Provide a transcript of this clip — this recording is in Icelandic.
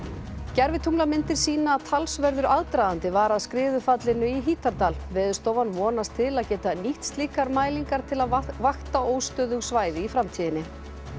gervitunglamyndir sýna að talsverður aðdragandi var að skriðufallinu í Hítardal Veðurstofan vonast til að geta nýtt slíkar mælingar til að vakta óstöðug svæði í framtíðinni